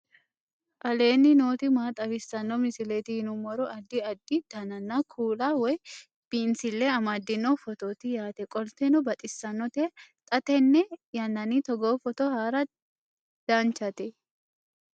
aleenni nooti maa xawisanno misileeti yinummoro addi addi dananna kuula woy biinsille amaddino footooti yaate qoltenno baxissannote xa tenne yannanni togoo footo haara danvchate